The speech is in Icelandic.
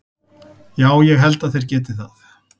Já ég held að þeir geti það.